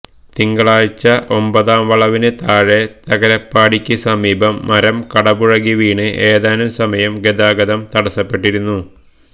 തിങ്കളാഴ്ച ഒമ്പതാം വളവിന് താഴെ തകരപ്പാടിക്ക് സമീപം മരം കടപുഴകി വീണ് ഏതാനും സമയം ഗതാഗതം തടസ്സപ്പെട്ടിരുന്നു